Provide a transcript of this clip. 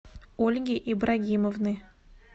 ольги ибрагимовны